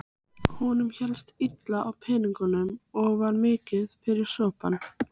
Honum hélst illa á peningum og var mikið fyrir sopann.